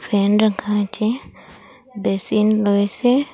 Fan রাখা আছে basin রয়েসে।